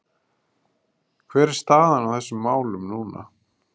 Hver er staðan á þessum málum núna?